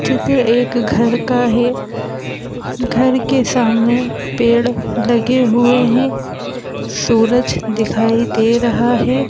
चित्र एक घर का है घर के सामने पेड़ लगे हुए हैं सूरज दिखाई दे रहा है।